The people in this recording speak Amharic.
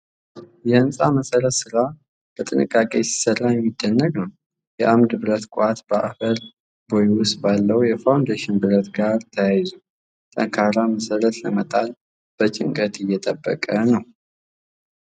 የሕንፃ መሰረት ሥራ በጥንቃቄ ሲሰራ የሚደንቅ ነው። የአምድ ብረት ቋት በአፈር ቦይ ውስጥ ባለው የፋውንዴሽን ብረት ጋር ተያይዞ፣ ጠንካራ መሠረት ለመጣል በጭንቀት እየተጠበቀ ነው።